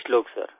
20 लोग सिर